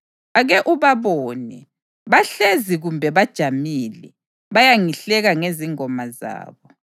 Ake ubabone! Bahlezi kumbe bajamile, bayangihleka ngezingoma zabo.